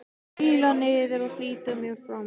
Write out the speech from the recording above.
Príla niður og flýti mér fram.